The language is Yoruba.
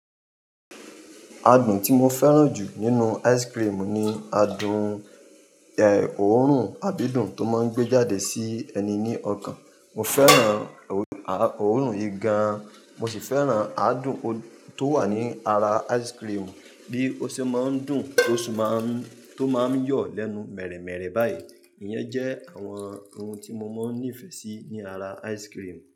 Adùn tí mo fẹ́ràn jù nínú ice cream ni adùn, ẹ, òórùn àdidùn tó máa ń gbé jáde sí ẹni ní ọkàn. Mo fẹ́ràn òórùn yìí gán, mo ṣì fẹ́ràn adùn tó wà ní ara ice cream, bí ó ṣe máa ń dùn tó sì máa ń, tó máa ń yọ̀ lẹ́nu mẹ̀rẹ̀ẹ̀mẹ̀rẹ̀ báyìí. Iyẹn jẹ́ àwọn ohun tí mo máa ń nífẹ̀ẹ́ sí ní ara ice cream.